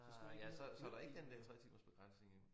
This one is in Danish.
Ah ja så så der ikke den der tretimersbegrænsning jo